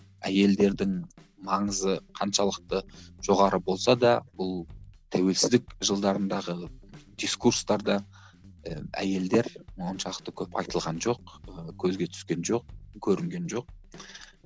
әйелдердің маңызы қаншалықты жоғары болса да бұл тәуелсіздік жылдарындардағы дискурстарда і әйелдер оншалықты көп айтылған жоқ ы көзге түскен жоқ көрінген жоқ